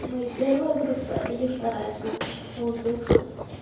мои первая группа или вторая группа по узбекскому